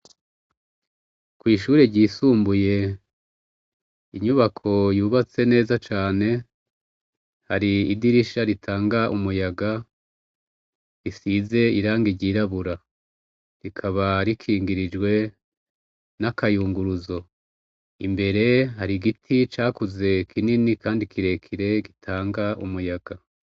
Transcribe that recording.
Kwishure ryisumbuye inyubako yubatse neza cane hari idirisha ritanga umuyaga risize irangi ryirabura rikaba rikingirijwe n'akayunguruzo imbere hari giti cakuze kinini kandi kirekire gitanga umuyaga.